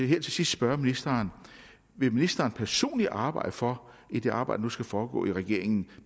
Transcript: her til sidst spørge ministeren vil ministeren personligt arbejde for i det arbejde der nu skal foregå i regeringen